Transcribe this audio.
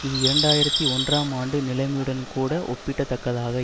இது இரண்டு ஆயிரத்தி ஒன்றாம் ஆண்டு நிலமையுடன்கூட ஒப்பிடத்தக்கதாக